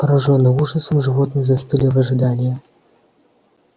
поражённые ужасом животные застыли в ожидании